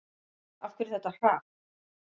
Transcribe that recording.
Af hverju þetta hrap?